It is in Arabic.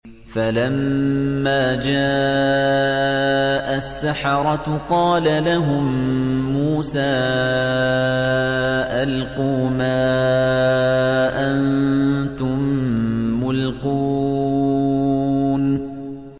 فَلَمَّا جَاءَ السَّحَرَةُ قَالَ لَهُم مُّوسَىٰ أَلْقُوا مَا أَنتُم مُّلْقُونَ